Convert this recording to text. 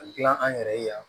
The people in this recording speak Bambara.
A gilan an yɛrɛ ye yan